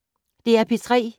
DR P3